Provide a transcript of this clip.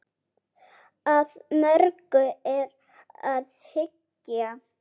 Að mörgu er að hyggja.